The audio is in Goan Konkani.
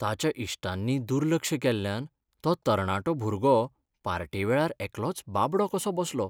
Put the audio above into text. ताच्या इश्टांनी दुर्लक्ष केल्ल्यान तो तरणाटो भुरगो पार्टेवेळार एकलोच बाबडो कसो बसलो.